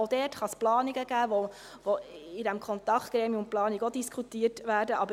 Auch da kann es Planungen geben, welche in diesem Kontaktgremium Planung auch diskutiert werden.